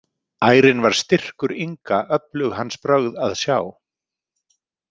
Ærinn var styrkur Inga öflug hans brögð að sjá.